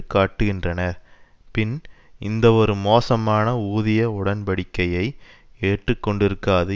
காட்டுகின்றன பின் இந்தவொரு மோசமான ஊதிய உடன்படிக்கையை ஏற்று கொண்டிருக்காது